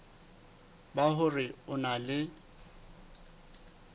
ba hore o na le